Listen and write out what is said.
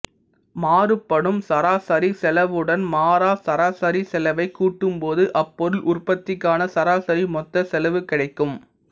மாறுபடும் சராசரி செலவுடன் மாறா சராசரி செலவைக் கூட்டும் போது அப்பொருள் உற்பத்திக்கான சராசரி மொத்த செலவு கிடைக்கும்